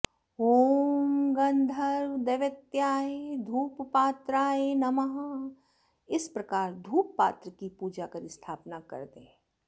ॐ गन्धर्वदैवत्याय धूपपात्राय नमः इस प्रकार धूपपात्र की पूजा कर स्थापना कर दें